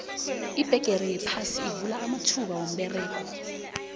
ibhegere yaphasi ivula amathuba womberego